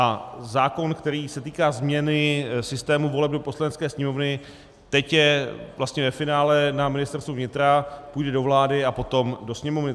A zákon, který se týká změny systému voleb do Poslanecké sněmovny, teď je vlastně ve finále na Ministerstvu vnitra, půjde do vlády a potom do Sněmovny.